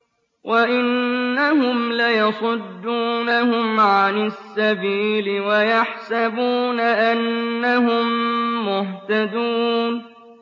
وَإِنَّهُمْ لَيَصُدُّونَهُمْ عَنِ السَّبِيلِ وَيَحْسَبُونَ أَنَّهُم مُّهْتَدُونَ